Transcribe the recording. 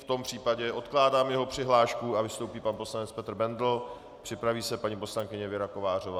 V tom případě odkládám jeho přihlášku a vystoupí pan poslanec Petr Bendl, připraví se paní poslankyně Věra Kovářová.